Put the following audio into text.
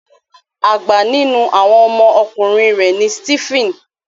Àgbà nínú àwọn ọmọ ọkùnrin rẹ ní Steven.